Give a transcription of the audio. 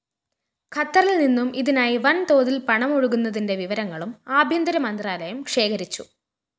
ഖത്തറില്‍നിന്നും ഇതിനായി വന്‍തോതില്‍ പണമൊഴുകിയതിന്റെ വിവരങ്ങളും ആഭ്യന്തര മന്ത്രാലയം ശേഖരിച്ചു